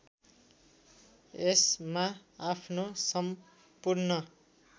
यसमा आफ्नो सम्पूर्ण